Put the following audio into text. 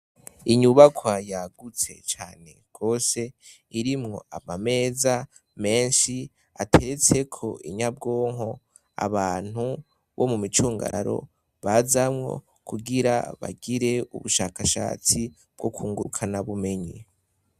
Inyubakwa yagutse cane gose, irimwo amameza menshi ateretseko inyabwonko, abantu bo mumicungurararo bazamwo, kugira bagire ubushakashatsi bwo kwunguka na bumenyi.